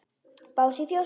Bás í fjósi?